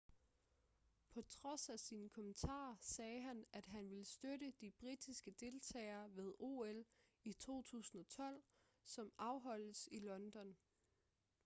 på trods af sine kommentarer sagde han at han vil støtte de britiske deltagere ved ol i 2012 som afholdes i london